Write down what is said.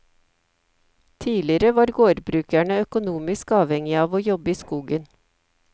Tidligere var gårdbrukerne økonomisk avhengige av å jobbe i skogen.